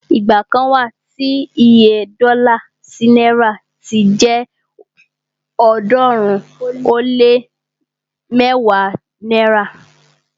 igba kan wa tí Iye dọ́là sí náìrà ti jẹ ọ̀ọ́dúnrún ó lé mẹ́wàá náírà